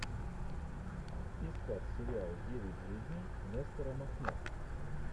искать сериал девять жизней нестора махно